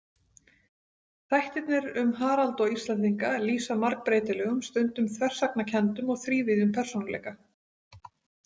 Þættirnir um Harald og Íslendinga lýsa margbreytilegum, stundum þversagnakenndum og þrívíðum persónuleika.